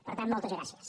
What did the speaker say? per tant moltes gràcies